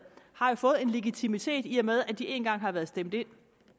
har fået en legitimitet i og med at de én gang har været stemt ind